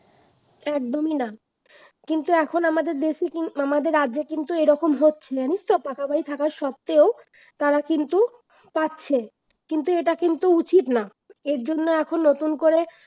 একদমই না কিন্তু এখন আমাদের দেশে কিন্তু আমাদের রাজ্যে এরকম হচ্ছিল জানিস তো, পাকা বাড়ি থাকা সত্ত্বেও তারা কিন্তু পাচ্ছে কিন্তু এটা কিন্তু উচিত না। এর জন্য এখন নতুন করে